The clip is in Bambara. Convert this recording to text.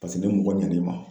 Pase ne mɔgɔ ɲɛn'i ma